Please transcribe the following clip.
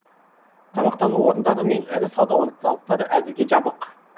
тамақтану орындары мен ірі сауда орталықтары әзірге жабық